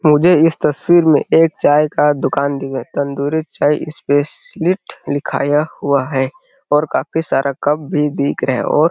मुझे इस तस्वीर में एक चाय का दुकान दिखाई दे रहा है तंदूरी चाय स्पेशलिस्ट लिखाया हुआ है और काफी सारा कप भी दिख रहे हैं और --